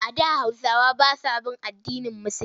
A da Hausawa ba sa bin addinin Musulinci.